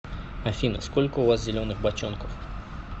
афина сколько у вас зеленых бочонков